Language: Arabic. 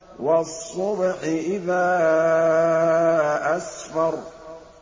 وَالصُّبْحِ إِذَا أَسْفَرَ